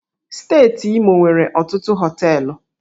Steeti Imo nwere ọtụtụ hóteélụ̀